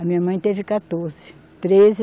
A minha mãe teve quatorze. Treze